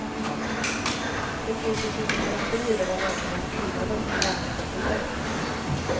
Nu finns det psykoterapier där man använder skrivandet som en läkande process.